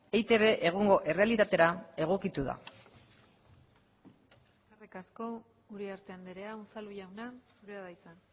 eitb egungo errealitatera egokitu da eskerrik asko uriarte andrea unzalu jauna zurea da hitza